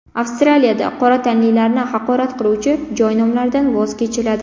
Avstraliyada qora tanlilarni haqorat qiluvchi joy nomlaridan voz kechiladi.